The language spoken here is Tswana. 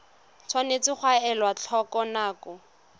tshwanetse ga elwa tlhoko dinako